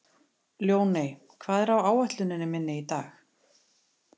Ljóney, hvað er á áætluninni minni í dag?